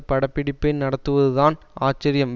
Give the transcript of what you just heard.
பட பிடிப்பை நடத்துவதுதான் ஆச்சரியம்